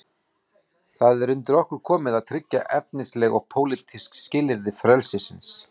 Það er undir okkur komið að tryggja efnisleg og pólitísk skilyrði frelsisins.